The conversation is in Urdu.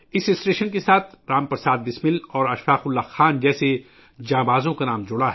اس اسٹیشن سے رام پرساد بسمل اور اشفاق اللہ خان جیسے بہادر لوگوں کا نام جڑا ہے